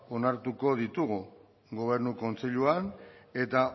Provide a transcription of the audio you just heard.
onartuko ditugu gobernu kontseiluan eta